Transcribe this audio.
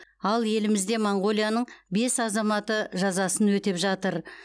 ал елімізде моңғолияның бес азаматы жазасын өтеп жатыр